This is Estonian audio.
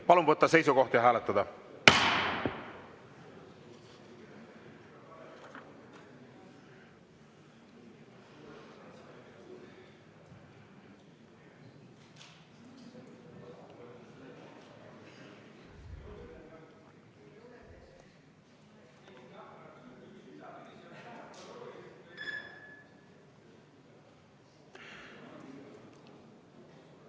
Palun võtta seisukoht ja hääletada!